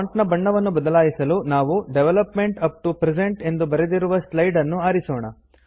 font ನ ಬಣ್ಣವನ್ನು ಬದಲಾಯಿಸಲು ನಾವು ಡೆವಲಪ್ಮೆಂಟ್ ಅಪ್ ಟಿಒ ಪ್ರೆಸೆಂಟ್ ಎಂದು ಬರೆದಿರುವ ಸ್ಲೈಡ್ ನ್ನು ಆರಿಸೋಣ